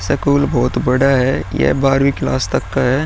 School बहुत बड़ा है। यह बारहवीं क्लास तक का है।